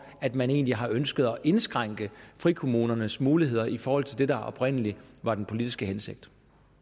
at man egentlig har ønsket at indskrænke frikommunernes muligheder i forhold til det der oprindelig var den politiske hensigt